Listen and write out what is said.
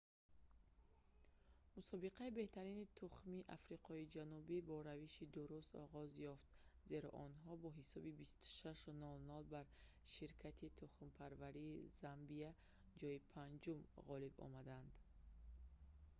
мусобиқаи беҳтарини тухмии африқои ҷанубӣ бо равиши дуруст оғоз ёфт зеро онҳо бо ҳисоби 26-00 бар ширкати тухмипарварии замбияи ҷойи 5-ум ғолиб омаданд